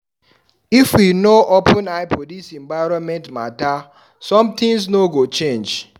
If we no open eye for dis environment mata, sometins no go change.